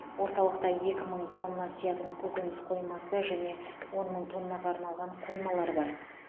орталықта екі мың тонна сиятын көкөніс қоймасы және он мың тоннаға арналған қоймалар бар